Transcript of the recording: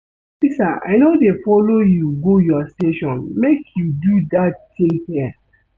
Officer I no dey follow you go your station make you do dat thing here